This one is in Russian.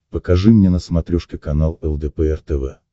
покажи мне на смотрешке канал лдпр тв